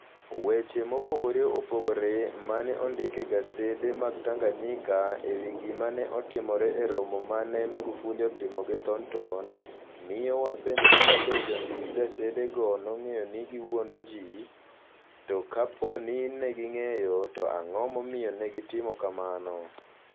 Weche mopogore opogore ma ne ondik e gasede mag Tanganyika e wi gima ne otimore e romo ma ne Magufuli otimo gi Thornton, miyo wapenjore kabe jondik gasedego nong'eyo ni ne giwuondo ji; to kapo ni ne ging'eyo, to ang'o momiyo ne gitimo kamano?